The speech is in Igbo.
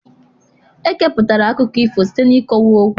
Ekeputara akụkọ ifo site n'ịkọwa ọkwụ